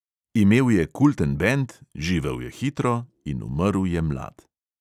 Imel je kulten bend, živel je hitro in umrl je mlad.